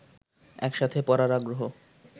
একসাথে পড়ার আগ্রহ